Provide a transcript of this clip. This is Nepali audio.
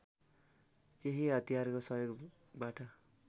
त्यही हतियारको सहयोगबाट